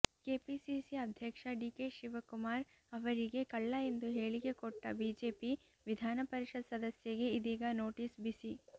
KPCC ಅಧ್ಯಕ್ಷ DK Shivakumar ಅವರಿಗೆ ಕಳ್ಳ ಎಂದು ಹೇಳಿಕೆ ಕೊಟ್ಟ ಬಿಜೆಪಿ ವಿಧಾನಪರಿಷತ್ ಸದಸ್ಯಗೆ ಇದೀಗ ನೋಟಿಸ್ ಬಿಸಿ